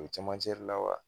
O bi camancɛre la wa ?